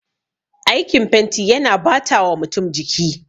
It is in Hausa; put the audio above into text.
Aikin fenti yana batawa mutum jiki